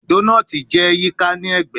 Donut jẹ yika ni ẹgbẹ